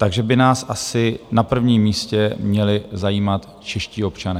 Takže by nás asi na prvním místě měli zajímat čeští občané.